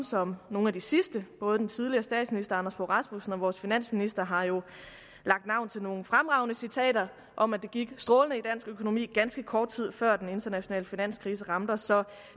som nogle af de sidste både den tidligere statsminister anders fogh rasmussen og vores finansminister har jo lagt navn til nogle fremragende citater om at det gik strålende for økonomi ganske kort tid før den internationale finanskrise ramte os så